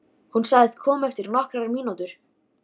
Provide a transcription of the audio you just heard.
Hún sagðist koma eftir nokkrar mínútur.